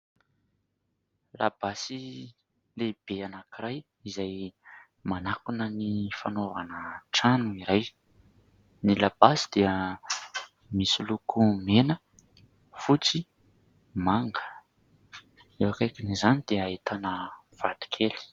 Labasy lehibe anankiray izay manakona ny fanaovana trano iray ; ny labasy dia misy loko mena, fotsy, manga. Eo akaikin'izany dia ahitana vatokely.